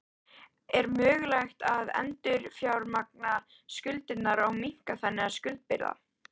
Er mögulegt að endurfjármagna skuldirnar og minnka þannig skuldabyrðina?